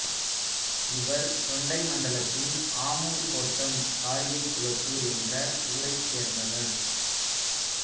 இவர் தொண்டை மண்டலத்தின் ஆமூர்க் கோட்டம் காரிகைக் குளத்தூர் என்ற ஊரைச் சேர்ந்தவர்